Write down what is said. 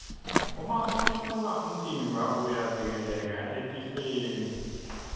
uma utilolonga umtimba uyavikeleka etifeni